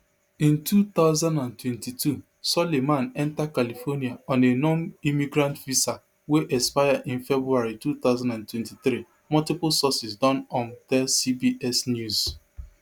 in two thousand and twenty-two soliman enta california on a nonimmigrant visa wey expire in february two thousand and twenty-three multiple sources don um tell cbs news